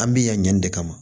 An bi yan ɲin de kama